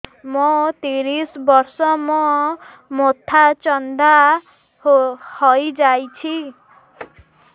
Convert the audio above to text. ମୋ ତିରିଶ ବର୍ଷ ମୋ ମୋଥା ଚାନ୍ଦା ହଇଯାଇଛି